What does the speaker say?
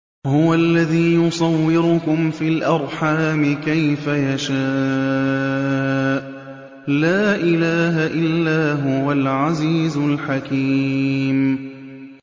هُوَ الَّذِي يُصَوِّرُكُمْ فِي الْأَرْحَامِ كَيْفَ يَشَاءُ ۚ لَا إِلَٰهَ إِلَّا هُوَ الْعَزِيزُ الْحَكِيمُ